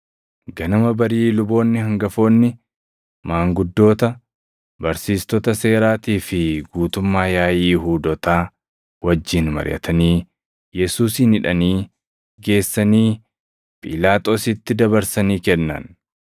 Ganama barii luboonni hangafoonni, maanguddoota, barsiistota seeraatii fi guutummaa yaaʼii Yihuudootaa wajjin mariʼatanii Yesuusin hidhanii, geessanii Phiilaaxoositti dabarsanii kennan.